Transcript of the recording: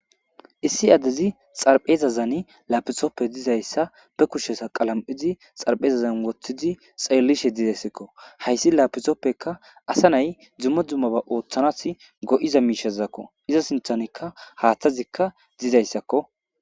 Issi addezi xarphezazani lapixoppe dizayssa be kushesa qalam7idi xarpheezazan woththidi xeellishe didayssekko hayssi lapisoppekka asa nay dumma dummaba ooththanas go7iza miishazakko iza sinthanikka haaththazikka dizayssakko.